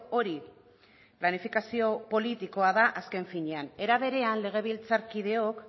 hori planifikazio politikoa da azken finean era berean legebiltzarkideok